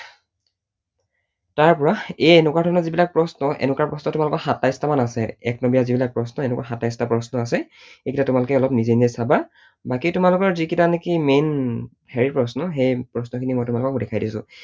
তাৰপৰা এই এনেকুৱা ধৰণৰ যিবিলাক প্ৰশ্ন, এনেকুৱা প্ৰশ্ন তোমালোকৰ সাতাইশটা মান আছে। এক নম্বৰীয়া যিবিলাক প্ৰশ্ন এনেকুৱা সাতাইশটা প্ৰশ্ন আছে, এইকেইটা তোমালোকে নিজেই নিজেই চাবা, বাকী তোমালোকৰ যিকেইটা নেকি main হেৰি প্ৰশ্ন সেই প্ৰশ্নখিনি মই তোমালোকক দেখাই দিছো।